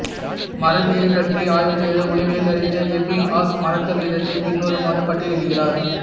மறதியைப் பற்றி ஆய்வு செய்த உளவியல் அறிஞர் எப்பிங்ஹாஸ் மறத்தல் வீதத்தைப் பின்வருமாறு பட்டியலிடுகிறார்